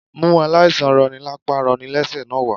Mú aláìsàn roni lapa roni lẹ́sẹ̀ náà wá